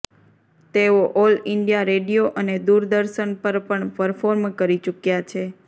તેઓ all India radio અને દુરદર્શન પર પણ પરફોર્મ કરી ચુક્યા છે